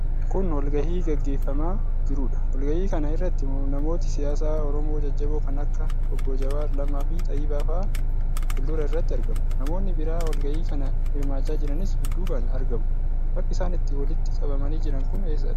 Kun wagahii gaggeeffamaa jiruudha. Walgahii kana irratti namooti siyaasaa Oromoo jajjaboon kan akka Obbo Jawaar, Lammaa fi Xayyibaafaa fuuldura irratti argamu. Namoonni biraa walgahii kana hirmaachaa jiranis dudduubaan argamu. Bakki isaan itt walitti qabamanii jiran kun eessadha?